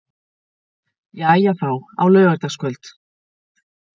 Jæja þá, á laugardagskvöld.